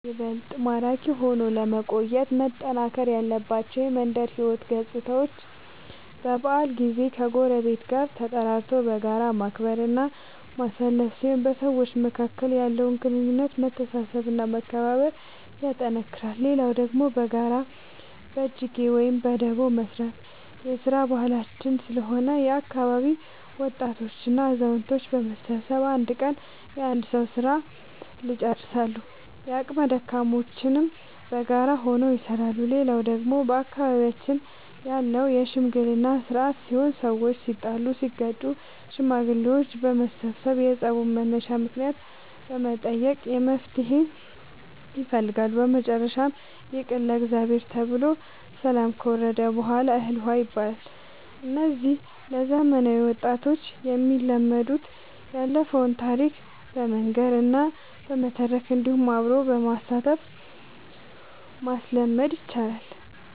ይበልጥ ማራኪ ሆኖ ለመቆየት መጠናከር ያለባቸው የመንደር ሕይወት ገፅታዎች በበዓል ጊዜ ከጎረቤት ጋር ተጠራርቶ በጋራ ማክበር እና ማሳለፍ ሲሆን በሰዎች መካከል ያለውን ግንኙነት መተሳሰብ እና መከባበር ያጠነክራል። ሌላው ደግሞ በጋራ በጅጌ ወይም በዳቦ መስራት የስራ ባህላችን ስለሆነ የአካባቢ ወጣቶች እና አዛውቶች በመሰብሰብ አንድ ቀን የአንድ ሰዉ ስራ ልጨርሳሉ። የአቅመ ደካሞችንም በጋራ ሆነው ይሰራሉ። ሌላው ደግሞ በአካባቢያችን ያለው የሽምግልና ስርአት ሲሆን ሰዎች ሲጣሉ ሲጋጩ ሽማግሌዎች በመሰብሰብ የፀቡን መነሻ ምክንያት በመጠየቅ መፍትሔ ይፈልጋሉ። በመጨረሻም ይቅር ለእግዚአብሔር ተብሎ ሰላም ከወረደ በሗላ እህል ውሃ ይባላል። እነዚህ ለዘመናዊ ወጣት የሚለመዱት ያለፈውን ታሪክ በመናገር እና በመተረክ እንዲሁም አብሮ በማሳተፍ ማስለመድ ይቻላል።